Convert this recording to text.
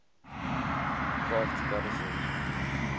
crafts goddesses